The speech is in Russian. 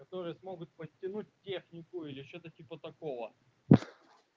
которые смогут подтянуть технику или что-то типа такого